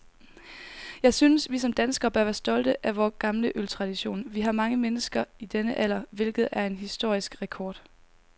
Jeg synes, vi som danskere bør være stolte af vor gamle øltradition. Vi har mange mennesker i denne alder, hvilket er en historisk rekord.